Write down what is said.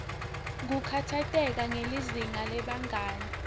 kukhatsateka ngelizinga lebangani